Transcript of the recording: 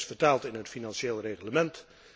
Dat is vertaald in het Financieel Reglement.